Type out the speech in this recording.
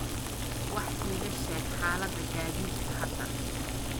wax iiga sheeg xaalada gaadiidka hadda